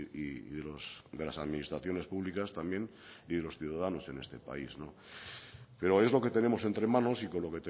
y de las administraciones públicas también y de los ciudadanos en este país pero es lo que tenemos entre manos y con lo